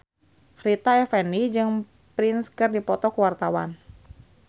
Rita Effendy jeung Prince keur dipoto ku wartawan